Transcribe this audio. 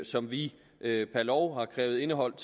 som vi per lov har krævet indeholdt